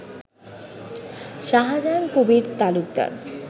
Shahjahan Kabir Talukdar